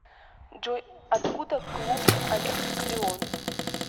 джой откуда клуб олимпик лион